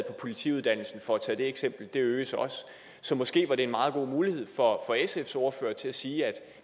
på politiuddannelsen for at tage de eksempler de øges også så måske var det en meget god mulighed for sfs ordfører til at sige at